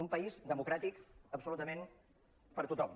un país democràtic abso·lutament per a tothom